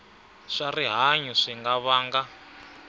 swa rihanyu swi nga vanga